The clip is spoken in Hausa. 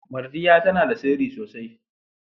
Mardiya tana da sirri sosai.